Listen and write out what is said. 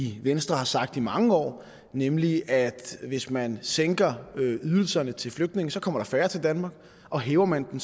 i venstre har sagt i mange år nemlig at hvis man sænker ydelserne til flygtninge kommer der færre til danmark og hæver man